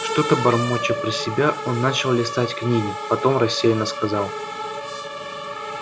что-то бормоча про себя он начал листать книги потом рассеянно сказал